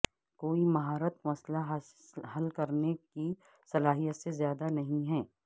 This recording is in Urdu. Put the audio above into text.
کوئی مہارت مسئلہ حل کرنے کی صلاحیت سے زیادہ نہیں ہے